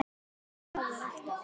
Þannig að það verður alltaf.